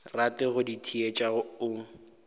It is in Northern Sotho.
rate go di theetša o